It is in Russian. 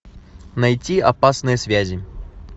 найти опасные связи